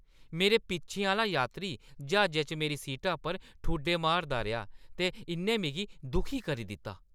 मेरे पिच्छें आह्‌ला यात्री ज्हाजै च मेरी सीटा पर ठुड्डे मारदा रेहा ते इʼन्नै मिगी दुखी करी दित्ता।